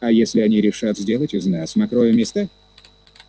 а если они решат сделать из нас мокрое место